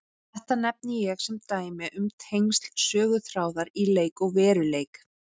Þetta nefni ég sem dæmi um tengsl söguþráðar í leik og veruleik.